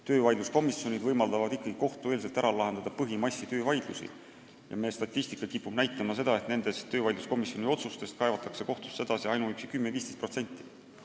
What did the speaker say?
Töövaidluskomisjonid võimaldavad kohtueelselt ära lahendada põhimassi töövaidlusi ja meie statistika kipub näitama seda, et töövaidluskomisjoni otsustest kaevatakse kohtusse edasi ainuüksi 10–15%.